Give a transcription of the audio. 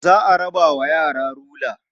Za a raba wa yara rula.